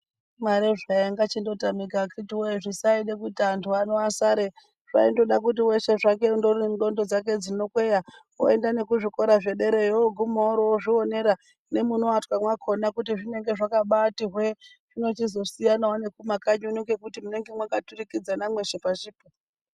Imari zvayo ingachingotamika akiti woyee zvisaida kuti anthu ano asare. Zvaindoda kuti weshe zvake undori neNdxondo dzake dzinokweya oyenda nekuzvikora zvederayo ooguma orozvionera nemunoatwa mwakona kuti zvinenge zvakabaati hwee. Zvinochizosiyanawo nekumakanyi ngekuti munenge mwakaturikidzana mweshe pashi poo.